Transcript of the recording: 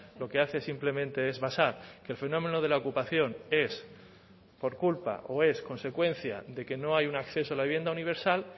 lo que hace simplemente es basar que el fenómeno de la ocupación es por culpa o es consecuencia de que no hay un acceso a la vivienda universal